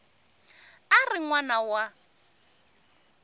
a ri n wana wa